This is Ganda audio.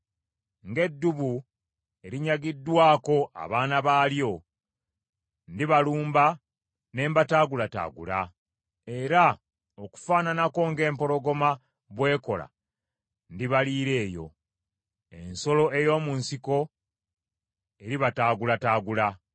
Ng’eddubu erinyagiddwako abaana baalyo, ndibalumba ne mbataagulataagula. Era okufaananako ng’empologoma bw’ekola ndibaliira eyo, ensolo ey’omu nsiko eribataagulataagula.